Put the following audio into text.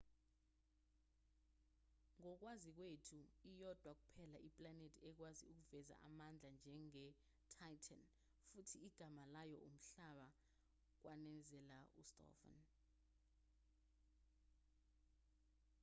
ngokwazi kwethu iyodwa kuphela iplanethi ekwazi ukuveza amandla njenge-titan futhi igama layo umhlaba kwanezela ustofan